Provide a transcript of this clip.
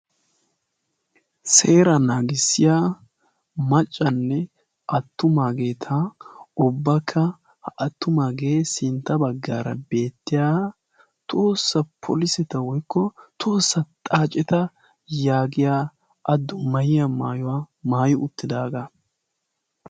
Seera naagissiya maccanne attumaageeta obbakka ha attumaagee sintta baggaara beettiya toossa poliseta woykko toossaa xaaceta yaagiya addu mayiya maayuwaa maayo uttidaagaa.